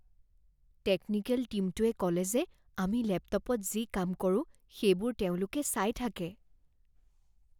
Technical টীমটোৱে ক'লে যে আমি লেপটপত যি কাম কৰোঁ সেইবোৰ তেওঁলোকে চাই থাকে।